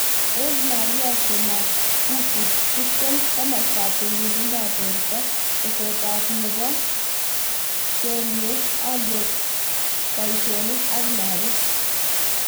Ave Maria Semakufu 20.Komastap tililindop porto, Tesetaptap. nepo klkweg, alyet, Poishek ak lagok